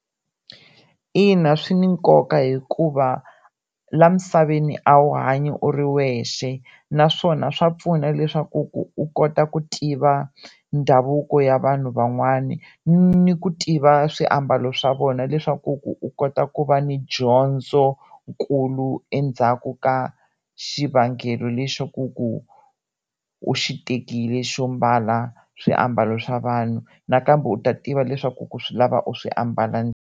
Ina swi ni nkoka hikuva laha misaveni a wu hanyi u ri wexe naswona swa pfuna leswaku ku u kota ku tiva ndhavuko ya vanhu van'wana ni ku tiva swiambalo swa vona leswaku ku u kota ku va ni dyondzonkulu endzhaku ka xivangelo lexaku ku u xi tekile xo mbala swiambalo swa vanhu nakambe u ta tiva leswaku ku swi lava u swi ambala.